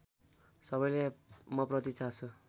सबैले मप्रति चासो